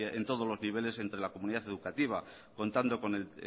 en todos los niveles entre la comunidad educativa contando con el